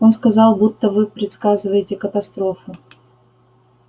он сказал будто вы предсказываете катастрофу